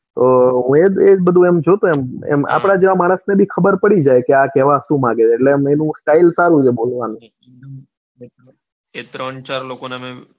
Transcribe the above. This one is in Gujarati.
ઓહ્હ બધું જોતા એમ આપણા જેવા માણસ ને બી ખબર પડી જાય કે આ કેવા સુ માંગે છે એટલે આમ એની style સારી છે બોલવાની ત્રણ ચાર લોકોને.